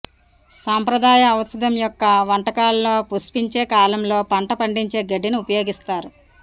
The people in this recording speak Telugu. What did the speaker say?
సాంప్రదాయ ఔషధం యొక్క వంటకాల్లో పుష్పించే కాలంలో పంట పండించే గడ్డిని ఉపయోగిస్తారు